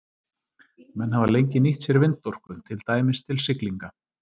Menn hafa lengi nýtt sér vindorku, til dæmis til siglinga.